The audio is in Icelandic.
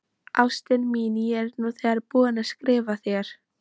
Ástin mín, ég er nú þegar búinn að skrifa þér.